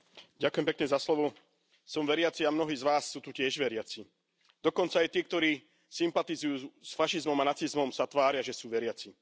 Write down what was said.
Vážený pán predsedajúci, som veriaci a mnohí z vás sú tu tiež veriaci. Dokonca aj tí, ktorí sympatizujú s fašizmom a nacizmom, sa tvária, že sú veriaci.